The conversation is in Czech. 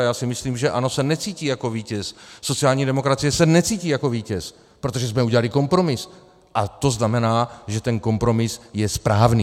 A já si myslím, že ANO se necítí jako vítěz, sociální demokracie se necítí jako vítěz, protože jsme udělali kompromis a to znamená, že ten kompromis je správný.